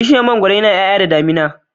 Bishiyar mangwaro nayin yaya da damina